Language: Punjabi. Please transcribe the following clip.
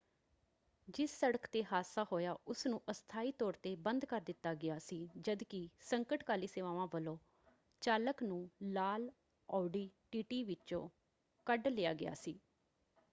ਜਿਸ ਸੜਕ ‘ਤੇ ਹਾਦਸਾ ਹੋਇਆ ਉਸਨੂੰ ਅਸਥਾਈ ਤੌਰ ‘ਤੇ ਬੰਦ ਕਰ ਦਿੱਤਾ ਗਿਆ ਸੀ ਜਦ ਕਿ ਸੰਕਟਕਾਲੀ ਸੇਵਾਵਾਂ ਵੱਲੋਂ ਚਾਲਕ ਨੂੰ ਲਾਲ ਆਉਡੀ ਟੀਟੀ ਵਿੱਚੋਂ ਕੱਢ ਲਿਆ ਗਿਆ ਸੀ।